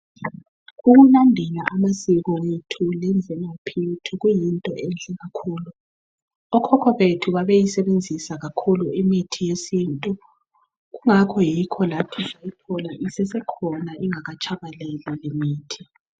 Ukulandela amasiko ethu lemvelaphi yethu kuyinto enhle kakhulu. Okhokho bethu babeyisebenzisa kakhulu imithi yesintu kungakho yikho lathi sayithola isesekhona ingakatshabalali lemithi.